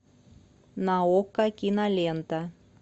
на окко кинолента